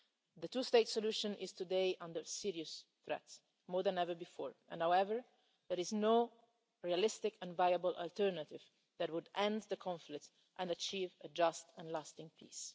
The two state solution is today under serious threat more than ever before and yet there is no realistic and viable alternative that would end the conflict and achieve a just and lasting peace.